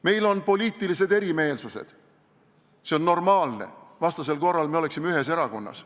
Meil on poliitilised erimeelsused – see on normaalne, vastasel korral oleksime ühes erakonnas.